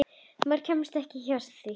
Maður kemst ekki hjá því.